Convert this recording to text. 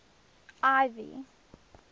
ivy